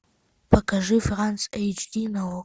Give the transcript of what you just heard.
покажи франс эйч ди на окко